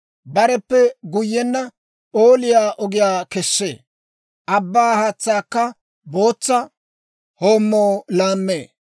Bareppe guyyenna p'ooliyaa ogiyaa kessee; abbaa haatsaakka bootsa hoommoo laammee.